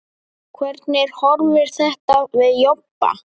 Hvernig horfir þetta við Jobba?